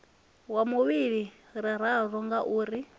wa vhuvhili ri ralo ngauri